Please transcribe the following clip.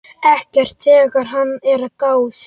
Ekki þegar að er gáð.